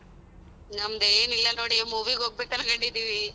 ನಮ್ದೇನ್ ಇಲ್ಲ ನೋಡಿ movie ಗ್ ಹೋಗ್ಬೇಕ್ ಅನ್ಕೊಂಡಿದಿವಿ.